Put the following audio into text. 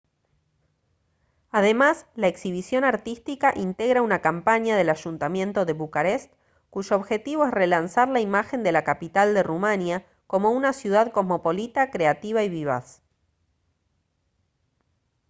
además la exhibición artística integra una campaña del ayuntamiento de bucarest cuyo objetivo es relanzar la imagen de la capital de rumania como una ciudad cosmopolita creativa y vivaz